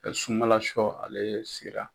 sunmalashɔ ale sera.